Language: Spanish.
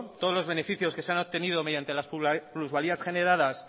todos los beneficios que se han obtenido mediante las plusvalías generadas